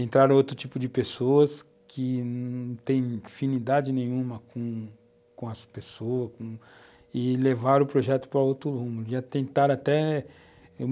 Entraram outro tipo de pessoas que não têm afinidade nenhuma com as pessoas com, e levaram o projeto para outro rumo. Já tentaram até